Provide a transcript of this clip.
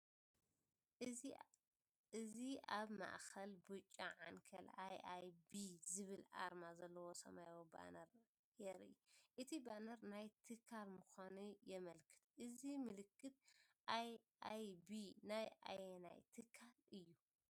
እዚ ኣብ ማእከል ብጫ ዓንኬል “ኣይ.ኣይ.ቢ.” ዝብል ኣርማ ዘለዎ ሰማያዊ ባነር የርኢ። እቲ ባነር ናይ ትካል ምዃኑ የመልክት።"እዚ ምልክት 'ኣይ.ኣይ.ቢ.' ናይ ኣየናይ ትካል እዩ?